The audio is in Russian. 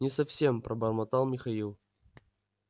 не совсем пробормотал михаил